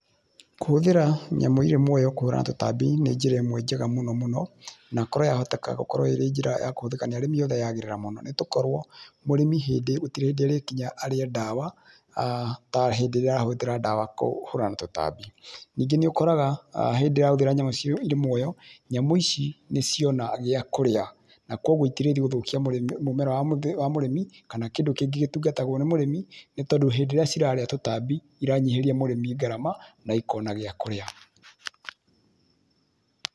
Kũhũthĩra nyamũ irĩ muoyo kũhũrana na tũtambi nĩ njĩra ĩmwe njega mũno. Na kũrwo yahoteka gũkorwo irĩ njĩra ya kũhũthĩka nĩ arĩmi othe yagĩrĩra mũno, nĩgũkorwo mũrĩmi hĩndĩ gũtirĩ hĩndĩ arĩkinya arĩe ndawa ta hĩndĩ irĩa arahũthĩra ndawa kũhũrana na tũtambi. Ningĩ nĩũkoraga hĩndĩ ĩyo arahũthĩra nyamũ irĩ muoyo nyamũ ici nĩciona gĩakũrĩa na kũguo itirĩthiĩ gũthũkia mũmera wa mũrĩmi kana kĩndũ kĩngĩ gĩtungatagwo nĩ mũrĩmi, nĩ tondũ hĩndĩ ĩria cirarĩa tũtambi ĩranyiharĩa mũrĩmi ngarama ĩkona gĩa kũrĩa.